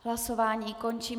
Hlasování končím.